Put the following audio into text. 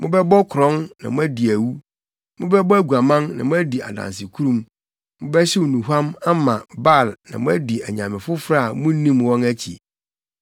“ ‘Mobɛbɔ korɔn na moadi awu, mobɛbɔ aguaman na moadi adansekurum, mobɛhyew nnuhuam ama Baal na moadi anyame afoforo a munnim wɔn akyi,